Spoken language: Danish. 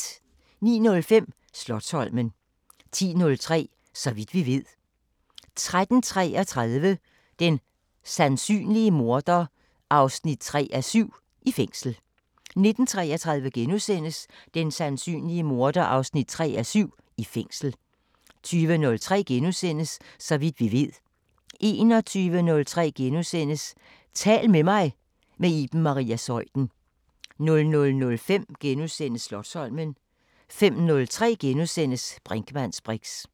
09:05: Slotsholmen 10:03: Så vidt vi ved 13:33: Den sandsynlige morder 3:7 – I fængsel 19:33: Den sandsynlige morder 3:7 – I fængsel * 20:03: Så vidt vi ved * 21:03: Tal til mig – med Iben Maria Zeuthen * 00:05: Slotsholmen * 05:03: Brinkmanns briks *